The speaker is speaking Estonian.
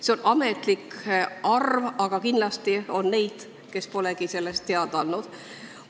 See on ametlik arv, aga kindlasti on neid, kes polegi sellest teada andnud.